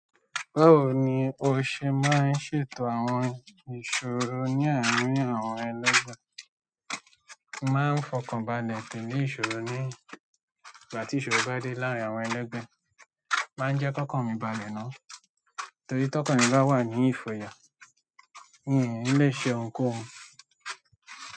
Báwo ni o ṣe máa ń ṣètò àwọn ìṣòro ní àárín àwọn ẹlẹgbẹ́? Máa ń fọkàn balẹ̀ pè ní ìṣòro ní ìgbà tí ìṣòro bá dé láàárín àwọn ẹlẹ́gbẹ́. Máa ń jẹ́ kọ́kàn mi balẹ̀ náà torí tí ọkàn rìn bá wà ní ìfòyà, n ò le ṣe ohunkóhun.